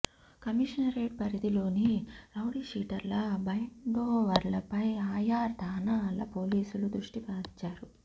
commissionerate పరిధి లోని రౌడీషీటర్ల బైండోవర్లపై ఆయా ఠాణాల పోలీసులు దృష్టి సారించారు